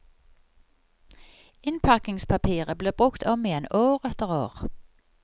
Innpakningspapiret ble brukt om igjen, år etter år.